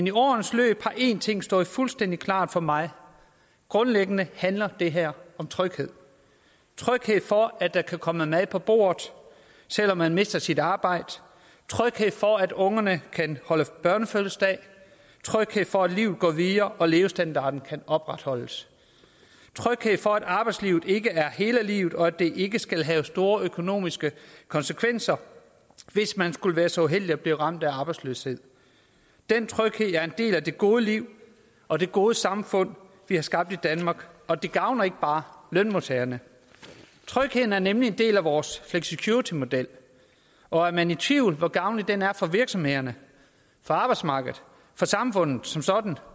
i årenes løb har én ting stået fuldstændig klart for mig grundlæggende handler det her om tryghed tryghed for at der kan komme mad på bordet selv om man mister sit arbejde tryghed for at ungerne kan holde børnefødselsdag tryghed for at livet går videre og levestandarden kan opretholdes tryghed for at arbejdslivet ikke er hele livet og at det ikke skal have store økonomiske konsekvenser hvis man skulle være så uheldig at blive ramt af arbejdsløshed den tryghed er en del af det gode liv og det gode samfund vi har skabt i danmark og det gavner ikke bare lønmodtagerne trygheden er nemlig en del af vores flexicuritymodel og er man i tvivl om hvor gavnlig den er for virksomhederne for arbejdsmarkedet for samfundet som sådan